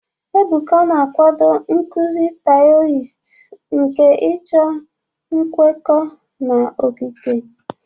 Ebuka na-akwado nkuzi Taoist nke ịchọ nkwekọ na okike.